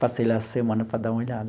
Passei lá essa semana para dar uma olhada.